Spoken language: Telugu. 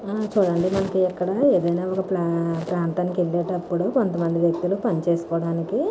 ఆ చుడండి మనకి ఎకాడ ఇదైనా ఒక ప్రాంతానికి అలేటపుడు కొంత మంది వ్యక్తులు పనిచేస్కోడానికి --